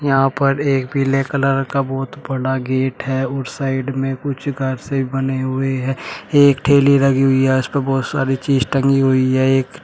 यहां पर एक पीले कलर का बहुत बड़ा गेट है और साइड में कुछ घर से बने हुए हैं एक ठेली लगी हुई है उस पे बहुत सारी चीज टंगी हुई है एक--